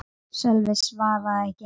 Sölvi svaraði ekki.